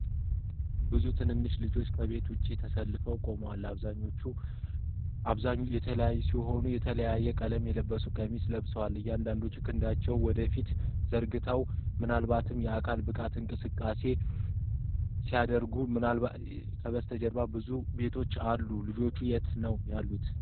ብዙ ትንንሽ ልጆች ከቤት ውጭ ተሰልፈው ቆመዋል። አብዛኞቹ ልጃገረዶች ሲሆኑ የተለያየ ቀለም ያለው ቀሚስ ለብሰዋል። አንዳንዶቹ ክንዳቸውን ወደ ፊት ዘርግተዋል፣ ምናልባትም የአካል ብቃት እንቅስቃሴ በማድረግ ላይ ናቸው። ከበስተጀርባ ብዙ ቤቶች አሉ። ልጆቹ የት ነው ያሉት?